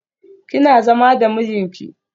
Kina zama da mijinki?